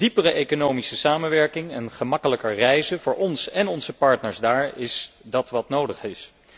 Diepere economische samenwerking en gemakkelijker reizen voor ons en onze partners daar is dat wat nodig is.